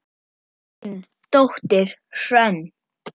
Þín dóttir, Hrönn.